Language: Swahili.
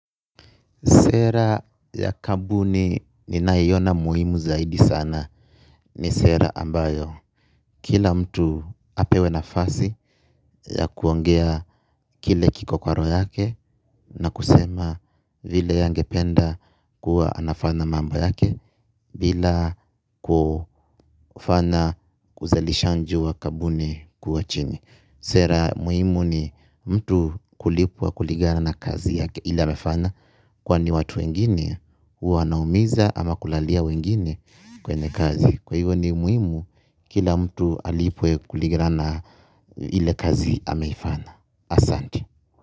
Sera ya kabuni ni nayiona muhimu zaidi sana ni sera ambayo. Kila mtu apewe nafasi ya kuongea kile kiko kwa roho yake na kusema vile angependa kuwa anafana mambo yake bila kufana uzalishanji wa kabuni kuwa chini. Sera muhimu ni mtu kulipwa kuligana na kazi yake ile amefana kwani watu wengine huwa wanaumiza ama kulalia wengine kwenye kazi. Kwa hivyo ni muimu kila mtu alipwe kuligana na ile kazi ameifana. Asante.